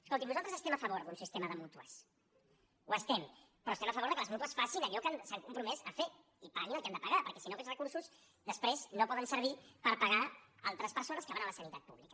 escolti’m nosaltres estem a favor d’un sistema de mútues ho estem però estem a favor de que les mútues facin allò que s’han compromès a fer i paguin el que han de pagar perquè si no aquests recursos després no poden servir per pagar altres persones que van a la sanitat pública